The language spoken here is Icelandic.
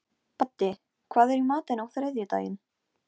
Ég sé um öskuna hér á staðnum.